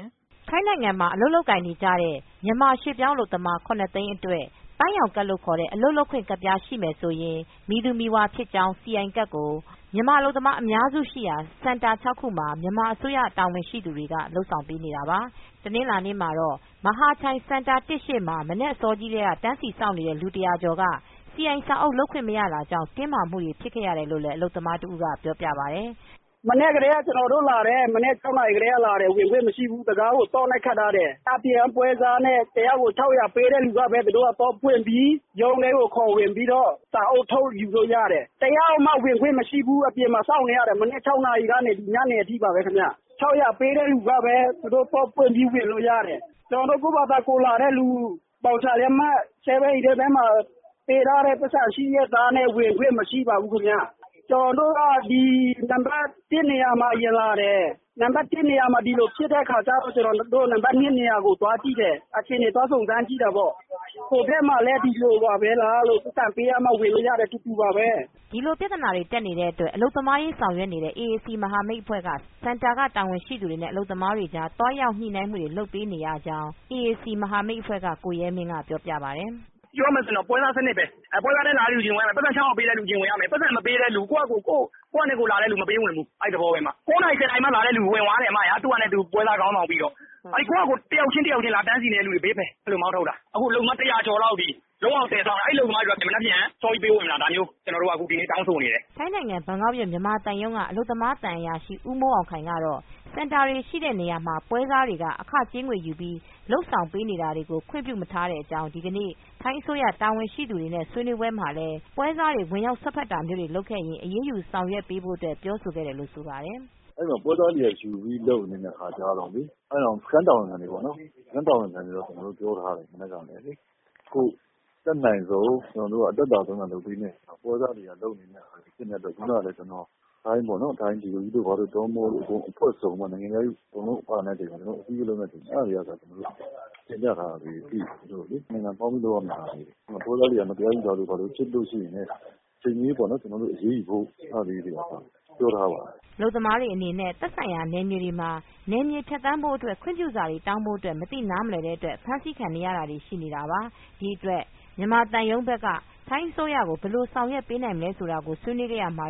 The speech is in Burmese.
ယ်။ ထိုင်းနိုင်ငံမှာ အလုပ်လုပ်ကိုင်နေကြတဲ့ မြန်မာရွှေ့ပြောင်းအလုပ်သမား သိန်းအတွက် ပန်းရောင်ကဒ် လို့ခေါ်တဲ့အလုပ်လုပ်ခွင့်ကဒ် ရှိမယ်ဆိုရင် မည်သူမည်ဝါဖြစ်ကြောင်း CI ကဒ်ကို မဟာချိုင်ဒေသအပါအဝင် မြန်မာအလုပ်သမားအများစုရှိရာ စင်တာ ၆ခုမှာမြန်မာအစိုးရကတာဝန်ရှိသူတွေကလုပ်ဆောင်ပေးနေတာပါ။ တနင်္လာနေမှာတော့ မဟာချိုင်စင်တာ ရှေ့မှာ မနက်ကတည်းက တန်းစီစောင့်နေတဲ့လူ၁၀၀ကျော်က စီအိုင်စာအုပ်လုပ်ခွင့်မရတာကြောင့် တင်းမာမူတွေဖြစ်နေရတယ်လို့အလုပ်သမားတဦးက ပြောပြပါတယ်။ “မနက်ကတည်းက ကျနော်တို့လာတယ် မနက် ၆ နာရီကတည်းကလာတယ် ဝင်ခွင့်မရှိဘူး တံခါးကို သော့နဲ့ ခတ်ထားတယ်။ ပွဲစားနဲ့ ၁ ယောက်ကို ၆၀၀ ပေးတဲ့လူပဲ သူတို့ သော့ဖွင့်ပြီး ရုံးထဲကို ခေါ်ဝင်ပြီးတော့ စာအုပ်ထုတ်ယူလို့ရတယ်။ တယောက်မှ ဝင်ခွင့်မရှိဘူး အပြင်မှာစောင့်နေရတယ်။ မနက် ၆ နာရီကတည်းကနေ ညနေအထိပါပဲ။ ၆၀၀ ပေးတဲ့လူပဲ သူတို့ သော့ဖွင့်ပြီးဝင်လို့ရတယ် ကျနော်တို့ ကိုယ်ဟာကို လာတဲ့လူ ဘောက်ချာလက်မှတ်ပေးထားတဲ့ ပိုက်ဆံရှိရဲ့သားနဲ့ ဝင်ခွင့် မရှိပါဘူးခင်ဗျ။ ကျနော်တို့က ဒီ နံပတ် ၁ နေရာမှာအရင်လာတယ် ၊ ဒီနံပတ် ၁ နေရာမှာ ဒီလိုဖြစ်တဲ့အခါကျတော့ ဒီနံပတ် ၂ နေရာကို သွားကြည့်တယ် အခြေအနေသွားစုံစမ်းတာပေါ့ ဟိုမှာလည်း ဒီလိုပါပဲ ၊ ပိုက်ဆံပေးမှ ဝင်လို့ရတယ် အတူတူပါပဲ။” ဒီလိုပြဿနာတက်နေတဲ့အတွက်အလုပ်သမားရေးဆောင်ရွက်နေတဲ့အေအေစီမဟာမိတ်အဖွဲ့ က စင်တာတာဝန်ရှိသူတွေနဲ့အလုပ်သမားတွေကြား သွားရောက်ညှိနှိုင်းမှုတွေလုပ်နေရကြောင်း အခုလိုပြောပါတယ်။ “ပြောရမယ်ဆိုရင်တော့ ပွဲစားစနစ်ပဲ၊ ပွဲစားနဲ့လာတဲ့လူ ပိုက်ဆံပေးတဲ့လူက ၆၀၀ ပေးတဲ့လူ အရင်ဝင်ရမယ်၊ ပိုက်ဆံမပေးတဲ့လူ ကိုယ့်ဟာကိုလာတဲ့လူတွေကို မပေးဝင်ဘူး အဲဒီသဘောပဲ။ ၉ နာရီ၊ ၁၀ နာရီ မှ လာတဲ့လူကတော့ ဝင်သွားတယ် ပွဲစားခေါင်းဆောင်ပြီးတော့ ကိုယ့်ဟာကို တယောက်ချင်း လာတန်းစီတဲ့လူတွေဘေးဖယ်ဆိုပြီး အဲလိုမောင်းထုတ်တယ်။ အခုအလုပ်သမား စောင့်နေကြတာ ၁၀၀ ကျော်သွားပြီ အဲဒီအလုပ်သမားတွေ မနက်ဖြန် ပေးဝင်ပါဆိုပြီး ကျနော်တို့တောင်းဆိုနေတယ်။” ထိုင်းနိုင်ငံဘန်ကောက်မြို့မြန်မာသံရုံးကအလုပ်သမားသံအရာရှိဦးမိုးအောင်ခိုင်ကတော့ စင်တာတွေရှိတဲ့နေရာမှာ ပွဲစားတွေနဲ့ အခကြေးငွေယူပြီး လုပ်ဆောင်တာကိုခွင့်ပြုမထားကြောင်း ဒီကနေ့ ထိုင်းအစိုးရတာဝန်ရှိသူတွေနဲ့ ဆွေးနွေးပွဲမှာလည်း ပွဲစားတွေ ဝင်ရောက်စွက်ဖက် တာမျိုးလုပ်ခဲ့ရင် အရေးယူဆောင်ရွက်ပေးဖို့ ပြောဆိုခဲ့တယ်လို့ ဆိုပါတယ်။ “ အဲဒီလို ပွဲစွားတွေက ယူပြီးလုပ်နေတဲ့အခါကျတော့ ကျနော်တို့ စခန်း တာဝန်ခံတွေကိုတော့ ပြောထားတယ် မနက်ကပဲ။ အတတ်နိုင်ဆုံးနဲ့ အသက်သာဆုံး လုပ်ပေးမှာကို ပွဲစားတွေကလုပ်နေကြတာဖြစ်တဲ့အတွက် ကျနော် ထိုင်း ဝန်ကြီးဌာန အဖွဲ့စုံ နိုင်ငံခြားရေးတွေလည်းပါမယ် အဲဒါတွေကို တင်ပြထားပါတယ်။ ဒီဟာက ၂ နိုင်ငံ ပေါင်းပြီးလုပ်ရမယ့်ဟာတွေကို ပွဲစားတွေက မတရားယူတာတွေဖြစ်ရင်လည်း အချိန်မရွေးပေါ့နော် အရေးယူဖို့ အဲဒါတွေကအစ ပြောထားပါတယ်။” အလုပ်သမားတွေအနေနဲ့ သက်ဆိုင်ရာ နယ်မြေတွေမှာ နယ်ကျော်ဖြတ်သန်းခွင့်ပြုစာတွေ တောင်းဖို့ မသိနားမလည်းတဲ့အတွက် အဖမ်းဆိးခံနေရတွေရှိနေတာတွေရှိနေနတာပါ ။ ဒီအတွက် မြန်မာသံရုံးဘက်က ထိုင်းအစိုးရကို ဘယ်လိုမျိုးဆောင်ရွက်ပေးနိုင်မလဲဆိုတာကို ဆွေးနွေးခဲ့ရာမှာ